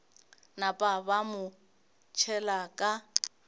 napa ba mo tšhela ka